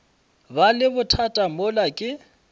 ba le bothata mola ke